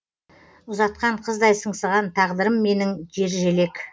ұзатқан қыздай сыңсыған тағдырым менің жержелек